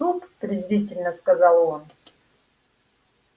суп презрительно сказал он